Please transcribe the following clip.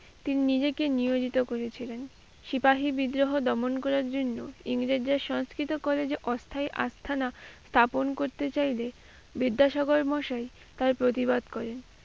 তিনি নিজেকে নিয়োজিত করে ছিলেন। সিপাহী বিদ্রোহ দমন করার জন্য ইংরেজরা সংস্কৃত করে যে অস্থায়ী আস্তানা স্থাপন করতে চাইলে, বিদ্যাসাগর মশাই তার প্রতিবাদ করেন।